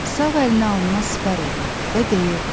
Sağ əlini alına sipər eləyirdi və deyirdi: